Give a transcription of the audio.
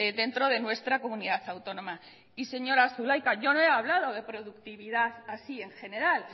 dentro de nuestra comunidad autónoma y señora zulaika yo no he hablado de productividad así en general